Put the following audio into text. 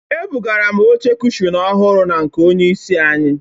Ebugara m oche cushọn ọhụrụ na nke onye isi anyị.